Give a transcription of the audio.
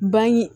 Ban ye